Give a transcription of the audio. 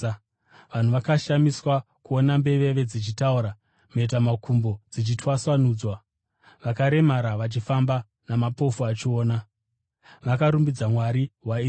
Vanhu vakashamiswa kuona mbeveve dzichitaura, mhetamakumbo dzichitwasanudzwa, vakaremara vachifamba namapofu achiona. Vakarumbidza Mwari weIsraeri.